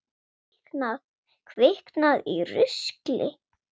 Kviknað í rusli?